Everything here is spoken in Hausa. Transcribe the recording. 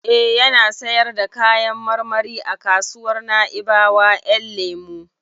Eh, yana sayar da kayan marmari a kasuwar Naibawa Ƴan lemu.